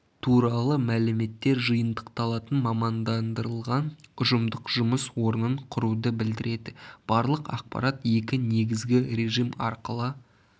туралы мәліметтер жиынтықталатын мамандандырылған ұжымдық жұмыс орнын құруды білдіреді барлық ақпарат екі негізгі режим арқылы